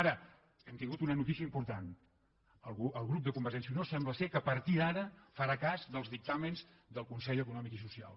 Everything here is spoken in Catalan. ara hem tingut una notícia im·portant el grup de convergència i unió sembla que a partir d’ara farà cas dels dictàmens del consell eco·nòmic i social